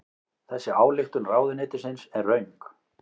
Þessi ályktun ráðuneytisins er röng